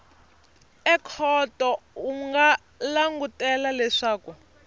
ekhoto u nga langutela leswaku